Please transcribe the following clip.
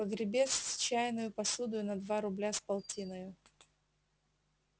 погребец с чайною посудою на два рубля с полтиною